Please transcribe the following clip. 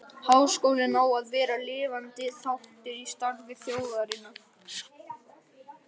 Háskólinn á að vera lifandi þáttur í starfi þjóðarinnar.